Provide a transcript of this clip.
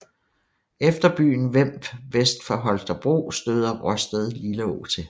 Efter byen Vemb vest for Holstebro støder Råsted Lilleå til